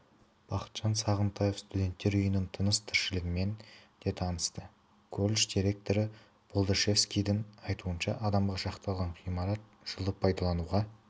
бақытжан сағынтаев студенттер үйінің тыныс-тіршілігімен де танысты колледж директоры болдашевскийдің айтуынша адамға шақталған ғимарат жылы пайдалануға